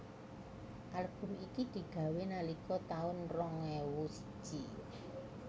Album iki digawé nalika taun rong ewu siji